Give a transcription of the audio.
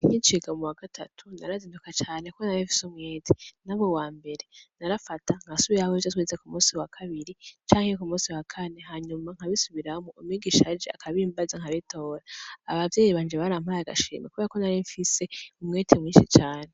Nk'iciga mu wa gatatu narazinduka cane kubera narimfise umwete naba uwa mbere, narafata nkasubiramwo ivyo twize ku musi wa kabiri canke ku musi wa kane, hanyuma nkabisuramwo umwigisha aje akabimbaza nkabitora. Abavyeyi banje barampaye agashimwe kubera ko narimfise umwete mwinshi cane.